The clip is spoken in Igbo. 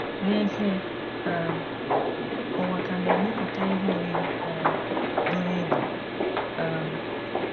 N’ezie, um ụwa ka na - emepụta ihe oriri um buru ibu. um